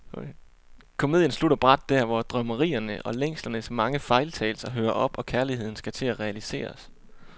Komedien slutter brat der, hvor drømmerierne og længslernes mange fejltagelser hører op, og kærligheden skal til at realiseres.